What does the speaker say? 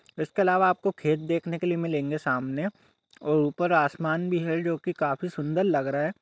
इसके अलावा आपको खेत देखने को मिलेगे सामने और ऊपर आसमान भि है जो काफी सुन्दर लग रहा है।